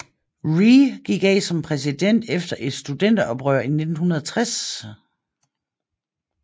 Rhee gik af som præsident efter et studenteroprør i 1960